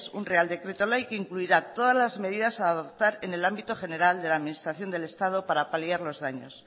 un real decreto ley que incluirá todas las medidas a adoptar en el ámbito general de la administración del estado para paliar los daños